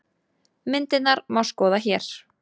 Myndirnar má skoða hér